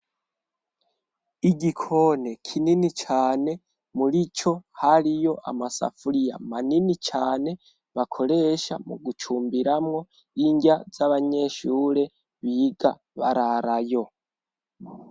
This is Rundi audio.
Igikoni kinini cane murico hariyo amasafuriya manini cane bakoresha mugucumbiramwo inrya z'abanyeshure biga bararayo.